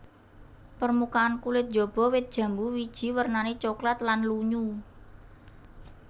Permukaan kulit jaba wit jambu wiji wernané coklat lan lunyu